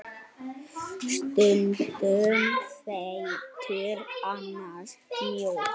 Stundum feitur, annars mjór.